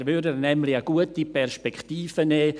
Er würde ihr nämlich eine gute Perspektive nehmen: